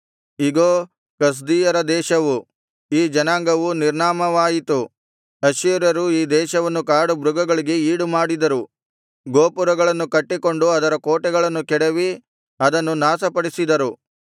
ಇಗೋ ಕಸ್ದೀಯರ ದೇಶವು ಈ ಜನಾಂಗವು ನಿರ್ನಾಮವಾಯಿತು ಅಶ್ಶೂರ್ಯರು ಈ ದೇಶವನ್ನು ಕಾಡುಮೃಗಗಳಿಗೆ ಈಡುಮಾಡಿದರು ಗೋಪುರಗಳನ್ನು ಕಟ್ಟಿಕೊಂಡು ಅದರ ಕೋಟೆಗಳನ್ನು ಕೆಡವಿ ಅದನ್ನು ನಾಶಪಡಿಸಿದರು